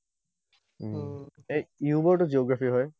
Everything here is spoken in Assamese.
এ য়ুবৰতো geography হয়।